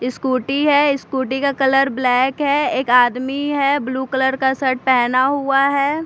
Scooty है scooty का colour black है एक आदमी है ब्लू कलर का शर्ट पहना हुआ है।